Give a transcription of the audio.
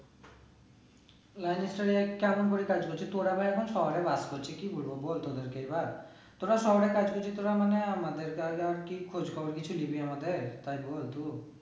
কেমন করে কাজ করছিস? তোর আমায় এখন সবে বাদ করছিস কি বলবো বল তোদেরকে এবার, তোরা সবাই কাজ করছিস তোরা মানে আমাদের কে আর কি খোঁজ খবর কিছু নিবি আমাদের, তাই বল তু